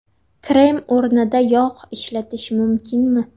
Krem o‘rnida yog‘ ishlatish mumkinmi?